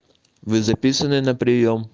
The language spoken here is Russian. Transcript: вы записаны на приём